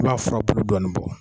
I b'a fura bulu dɔɔnin bɔ.